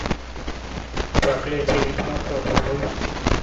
проклятие ведьмака врубай